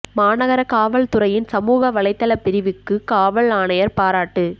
மாநகர காவல் துறையின் சமூக வலைதள பிரிவுக்கு காவல் ஆணையா் பாராட்டு